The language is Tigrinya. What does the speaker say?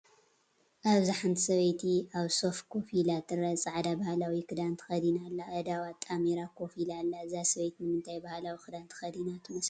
ኣብዚ ሓንቲ ሰበይቲ ኣብ ሶፋ ኮፍ ኢላ ትርአ። ጻዕዳ ባህላዊ ክዳንን ተኸዲና ኣላ። ኣእዳዋ ኣጣሚራ ኮፍ ኢላ ኣላ። እዛ ሰበይቲ ንምንታይ ባህላዊ ክዳን ተኸዲና ትመስለኩም?